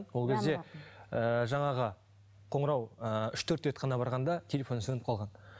ол кезде ыыы жаңағы ыыы қоңырау ы үш төрт рет қана барған да телефоны сөніп қалған